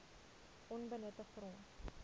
onbenutte grond